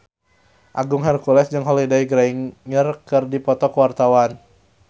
Agung Hercules jeung Holliday Grainger keur dipoto ku wartawan